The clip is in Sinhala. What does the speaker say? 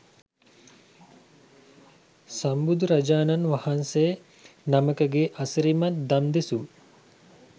සම්බුදුරජාණන් වහන්සේ නමකගේ අසිරිමත් දම් දෙසුම්